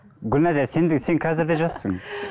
гүлназия сен де сен қазір де жассың